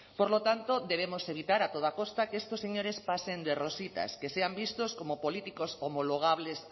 por lo tanto debemos evitar a toda costa que estos señores pasen de rositas que sean vistos como políticos homologables